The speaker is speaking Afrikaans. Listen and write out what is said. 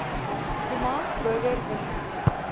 romans burger willie